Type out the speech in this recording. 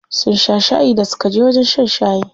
Sun sha shayi da suka je wajen shan shayi.